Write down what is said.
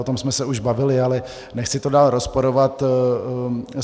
O tom jsme se už bavili, ale nechci to dál rozporovat.